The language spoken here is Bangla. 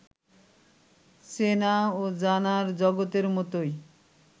চেনা ও জানার জগতের মতোই